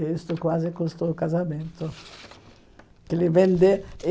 Isso quase custou o casamento. Que ele vende